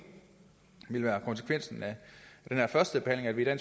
vil være konsekvensen af den her førstebehandling at